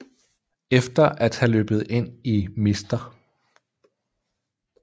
Efter at have løbet ind i Mr